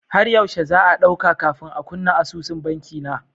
Har yaushe za'a ɗauka kafin a kunna asusun banki na?